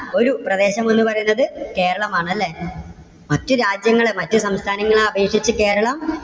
ഒരു പ്രദേശം എന്ന് പറയുന്നത് കേരളം ആണല്ലേ. മറ്റു രാജ്യങ്ങളെ, മറ്റു സംസ്ഥാനങ്ങളെ അപേക്ഷിച്ച് കേരളം